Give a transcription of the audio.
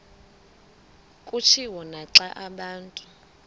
kutshiwo naxa abantu